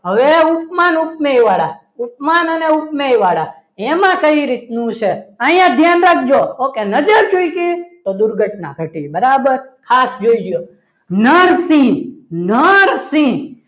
હવે ઉપમાન ઉપમેય વાળા ઉપમાન અને ઉપમેય વાળા એમાં કઈ રીતનું છે અહીંયા ધ્યાન રાખજો okay નજર ચૂકી તો દુર્ઘટના ઘટે બરાબર ખાસ જોજો નરસિંહ નરસિંહ હવે